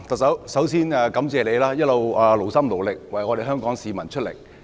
特首，首先感謝你一直勞心勞力為香港市民工作。